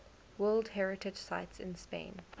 world heritage sites in spain